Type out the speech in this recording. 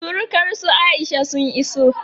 surukar su Aisha sun iso